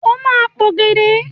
O ma p'ògèdè!